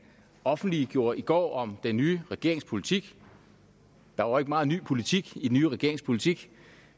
offentliggjorde i går om den nye regerings politik der var ikke meget ny politik i den nye regerings politik